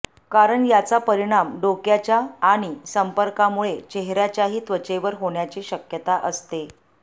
कारण याचा परिणाम डोक्याच्या आणि संपर्कामुळे चेहर्याच्याही त्वचेवर होण्याची शक्यता असते